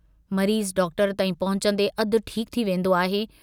मरीज़ डॉक्टर ताईं पहुचन्दे अधु ठीकु थी वेन्दो आहे।